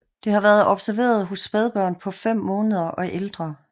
Det har været observeret hos spædbørn på fem måneder og ældre